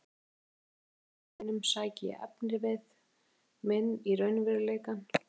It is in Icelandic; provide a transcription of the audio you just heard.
Einsog í öllum skáldsögum mínum sæki ég efnivið minn í raunveruleikann.